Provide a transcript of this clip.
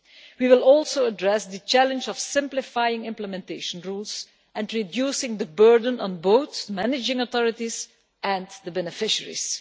We will also address the challenge of simplifying implementation rules and reducing the burden on both managing authorities and beneficiaries.